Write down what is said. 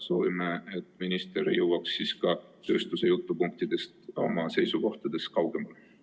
Soovime, et minister jõuaks oma seisukohtades tööstuse jutupunktidest kaugemale.